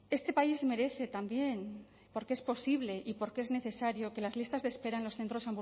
este país merece también porque es posible y porque es necesario que las listas de espera en los centros